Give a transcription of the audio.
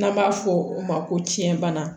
N'an b'a fɔ o ma ko tiɲɛ bana